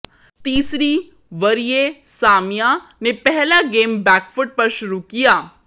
तीसरी वरीय सामिया ने पहला गेम बैकफुट पर शुरू किया